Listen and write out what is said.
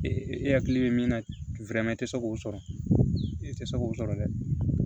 e hakili bɛ min na i tɛ se k'o sɔrɔ i tɛ se k'o sɔrɔ dɛ